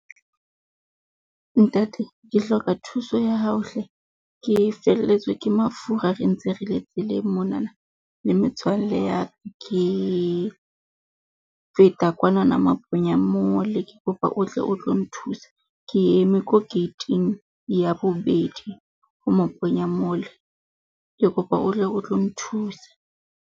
Ntate, ke hloka thuso ya hao hle, ke felletswe ke mafura re ntse re le tseleng monana le metswalle ya ka. Ke, feta kwanana Maponya Mall. Ke kopa o tle o tlo nthusa, ke eme ko gate-ing ya bobedi ho Maponya Mall, ke kopa o tle o tlo nthusa.